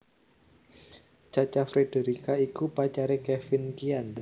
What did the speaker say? Cha Cha Frederica iku pacaré Kevin Kian